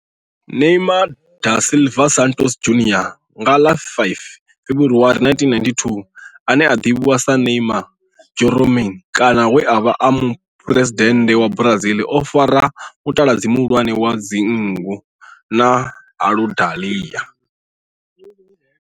Neymar da Silva Santos Junior nga ḽa 5 February 1992, ane a ḓivhiwa sa Neymar' Jeromme kana we a vha e muphuresidennde wa Brazil o fara mutaladzi muhulwane wa dzinngu na Aludalelia.